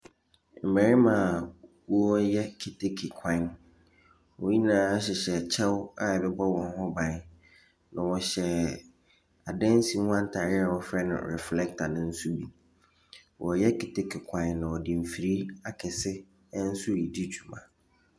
Mbɛrema wɔɔyɛ keteke kwan. Wonyinaa hyehyɛ kyɛw a ɛbɛbɔ wɔn ho ban. Na wɔhyɛ adansi ho ataareɛ wɔfrɛ no reflɛta ne so bi. Wɔyɛ keteke kwan no na wɔde mfiri akɛse nso redi dwuma.